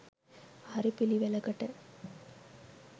හරි පිළිවෙලකට